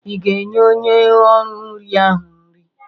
Ị ga-enye onye ori nri ahụ nri?